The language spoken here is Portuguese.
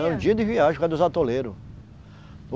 Era um dia de viagem por causa dos atoleiros.